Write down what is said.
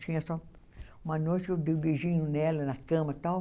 Tinha só uma noite que eu dei um beijinho nela na cama e tal.